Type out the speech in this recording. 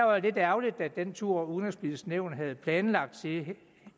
var lidt ærgerligt at den tur udenrigspolitiske nævn havde planlagt